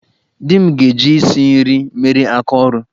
Di m ga-eji isi nri mere aka ọru.